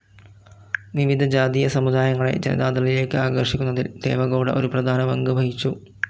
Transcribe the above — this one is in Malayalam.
വിവിധ ജാതീയ സമുദായങ്ങളെ ജനതാദളിലേക്ക് ആകർഷിക്കുന്നതിൽ ദേവഗൗഡ ഒരു പ്രധാന പങ്കുവഹിച്ചു.